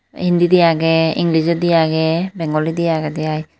Hindindi age englijondi age bengolindi agede ai.